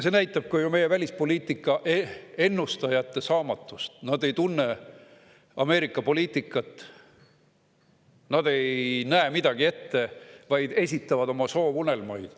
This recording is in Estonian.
See näitab ka meie välispoliitika ennustajate saamatust, nad ei tunne Ameerika poliitikat, nad ei näe midagi ette, nad vaid esitavad oma soovunelmaid.